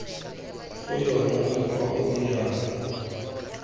go yona mokgwa o dirang